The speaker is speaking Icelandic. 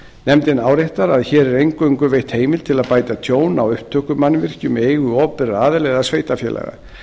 nefndin áréttar að hér er eingöngu veitt heimild til að bæta tjón á upptökumannvirkjum í eigu opinberra aðila eða sveitarfélaga